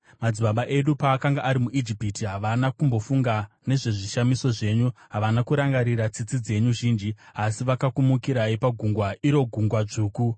Madzibaba edu paakanga ari muIjipiti, havana kumbofunga nezvezvishamiso zvenyu; havana kurangarira tsitsi dzenyu zhinji, asi vakakumukirai pagungwa, iro Gungwa Dzvuku.